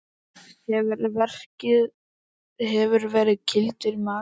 Hefurðu verið kýldur í magann?